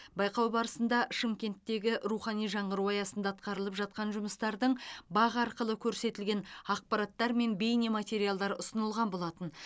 байқау барысында шымкенттегі рухани жаңғыру аясында атқарылып жатқан жұмыстардың бақ арқылы көрсетілген ақпараттар мен бейне материалдар ұсынылған болатын